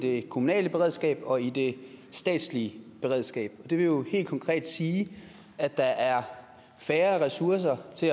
i det kommunale beredskab og i det statslige beredskab det vil jo helt konkret sige at der er færre ressourcer